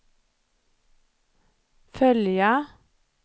följa